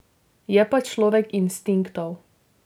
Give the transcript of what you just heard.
Je pa človek instinktov.